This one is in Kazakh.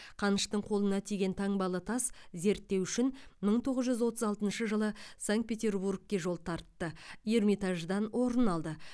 қаныштың қолына тиген таңбалы тас зерттеу үшін мың тоғыз жүз отыз алтыншы жылы санкт петербургке жол тартты эрмитаждан орын алды